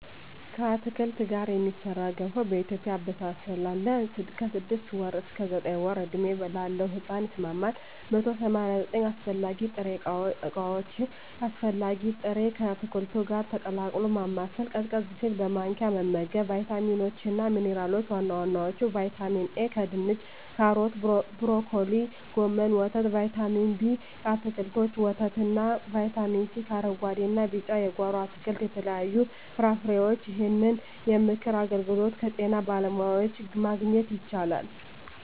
ከአትክልት ጋር የሚሠራ ገንፎ በኢትዮጵያ አበሳሰል አለ። ከ6 ወር እስከ 9 ወር ዕድሜ ላለው ሕጻን ይስማማል። 189 አስፈላጊ ጥሬ ዕቃዎች አስፈላጊ ጥሬ...፣ ከአትክልቱ ጋር ቀላቅሎ ማማሰል፣ ቀዝቀዝ ሲል በማንኪያ መመገብ። , ቫይታሚኖች እና ሚንራሎች(ዋና ዋናዎቹ) ✔️ ቫይታሚን ኤ: ከድንች ካሮት ብሮኮሊ ጎመን ወተት ✔️ ቫይታሚን ቢ: ከአትክልቶች ወተት እና ✔️ ቫይታሚን ሲ: ከአረንጉአዴ እና ቢጫ የጓሮ አትክልት ከተለያዩ ፍራፍሬዎች ይህንን የምክር አገልግሎት ከጤና ባለሙያዎች ማግኘት ይቻላል።